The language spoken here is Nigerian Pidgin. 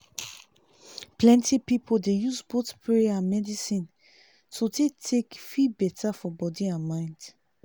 plenty people dey use both prayer and medicine to take feel better for body and mind.